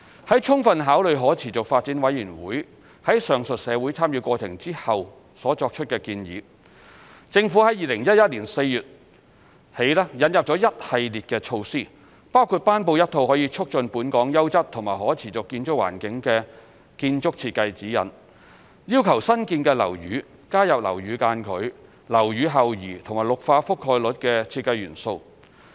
在充分考慮可持續發展委員會於上述社會參與過程後所作出的建議後，政府自2011年4月起引入一系列措施，包括頒布一套可促進本港優質和可持續建築環境的建築設計指引，要求新建樓宇加入樓宇間距、樓宇後移和綠化覆蓋率的設計元素。